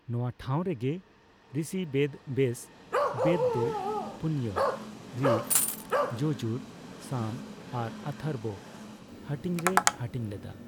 ᱱᱚᱣᱟ ᱴᱷᱟᱣ ᱨᱮᱜᱮ ᱨᱤᱥᱤ ᱵᱮᱫᱽᱵᱮᱥ ᱵᱮᱫᱽ ᱫᱚ ᱯᱚᱱᱭᱟ ᱨᱤᱠ, ᱡᱚᱡᱩᱨ, ᱥᱟᱢ, ᱟᱨ ᱚᱛᱷᱚᱨᱵᱚ ᱦᱟᱹᱴᱤᱧᱨᱮᱭ ᱦᱟᱹᱴᱤᱧ ᱞᱮᱫᱟ ᱾